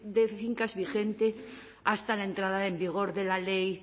de fincas vigente hasta la entrada en vigor de la ley